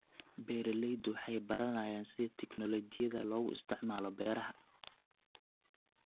Beeraleydu waxay baranayaan sida tignoolajiyada loogu isticmaalo beeraha.